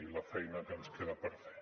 i la feina que ens queda per fer